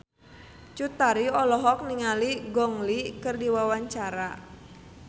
Cut Tari olohok ningali Gong Li keur diwawancara